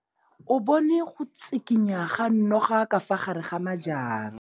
O bone go tshikinya ga noga ka fa gare ga majang.